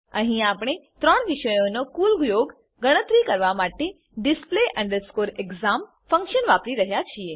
અહીં આપણે ત્રણ વિષયોનો કુલ યોગ ગણતરી કરવા માટે display exam ફંક્શન વાપરી રહ્યા છીએ